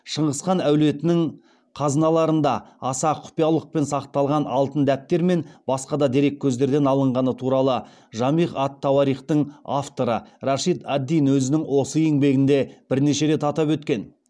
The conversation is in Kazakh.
шыңғыс хан әулетінің қазыналарында аса құпиялықпен сақталған алтын дәптер мен басқа да дереккөздерден алынғаны туралы жамиғ ат тауарихтың авторы рашид ад дин өзінің осы еңбегінде бірнеше рет атап өткен